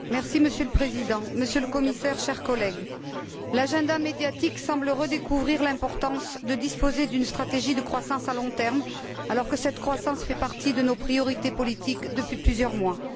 Monsieur le Président, Monsieur le Commissaire, chers collègues, l'agenda médiatique semble redécouvrir l'importance de disposer d'une stratégie de croissance à long terme, alors que cette croissance fait partie de nos priorités politiques depuis plusieurs mois.